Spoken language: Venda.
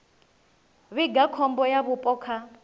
vhiga khombo ya vhupo kha